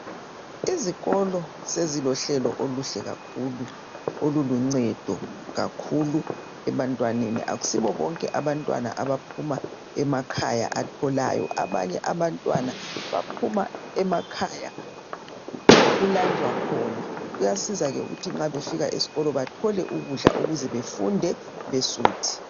Izikolo sezilohlelo oluhle kakhulu oluluncedo kakhulu ebantwaneni .Akusibo bonke abantwana abaphuma emakhaya atholayo ,abanye abantwana baphuma emakhaya okulanjwa khona .Kuyasizake ukuthi nxa befika esikolo bathole ukudla ukuze befunde besuthi.